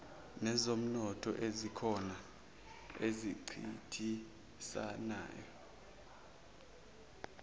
nezomnotho ezikhona ezincintisanayo